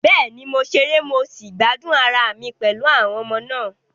Bẹ́ẹ̀ni, mo ṣeré mo sì gbádùn ara mi pẹ̀lú àwọn ọmọ náà.